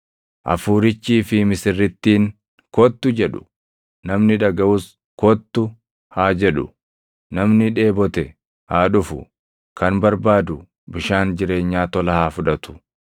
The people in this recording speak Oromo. Hafuurichii fi misirrittiin, “Kottu!” jedhu; namni dhagaʼus, “Kottu!” haa jedhu; namni dheebote haa dhufu; kan barbaadu bishaan jireenyaa tola haa fudhatu.